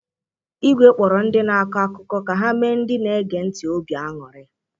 Ígwé kpọrọ ndị na-akọ akụkọ ka ha mee ndị na-ege ntị obi aṅụrị.